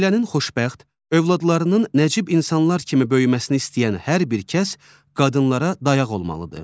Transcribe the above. Ailənin xoşbəxt, övladlarının nəcib insanlar kimi böyüməsini istəyən hər bir kəs qadınlara dayaq olmalıdır.